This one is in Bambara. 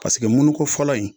Paseke munun ko fɔlɔ in